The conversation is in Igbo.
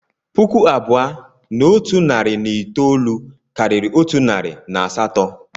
Puku abụọ na otu narị na itoolu karịrị otu narị na asatọ